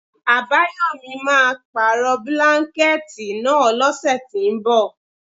Àbáyòmí máà ń pàrọ̀ bílánkẹ̀tì náà lọ́sẹ̀ tínbọ̀.